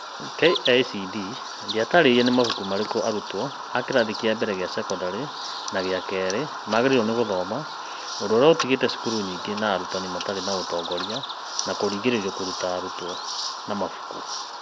KĩCD ndĩtaarĩirie nĩ mabuku marĩkũ arutwo a kĩrathi kĩa mbere kia cekondarĩ na gĩa kerĩ magĩrĩirwo nĩ gũthoma, ũndũ ũrĩa ũtigĩte cukuru nyingĩ na arutani matarĩ na ũtongoria na kũringĩrĩrio kũruta arutwo mabuku ma mabuku.